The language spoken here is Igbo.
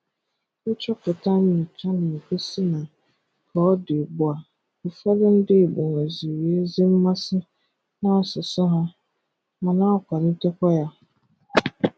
Nchọpụta nyocha na-egosi na ka ọ dị ugbu a, ụfọdụ ndị igbo nweziri ezi mmasị n'asụsụ ha, ma na-akwalitekwa ya.